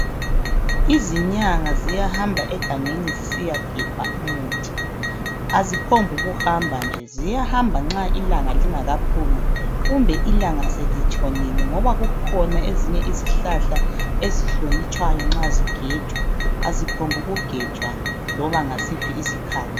Izinyanga ziyahamba egangeni zisiyagebha umuthi aziphonguhamba nje ziyahamba nxa ilanga lingakaphumi kumbe ilanga selitshonile ngoba kukhona ezinye izihlahla ezihlonitshwayo nxa zigejwa aziphombuku gejwa loba ngasiphi isikhathi.